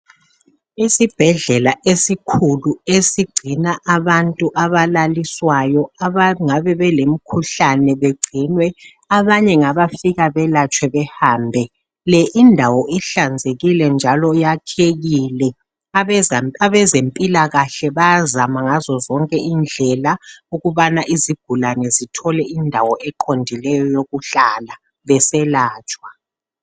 Isibhedlela esikhulu esigcina abantu abalaliswayo abangabe belemkhuhlane bagcinwe. Abanye ngabafika belatshe behambe. Le indawo ihlanzekile njalo iyakekile. Abazemphilakahle bayazama ngazo zonke indlela ukubana izigulane zithole indawo eqondileyo yokuhlala beselatshwa.